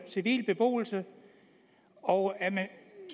civil beboelse og er man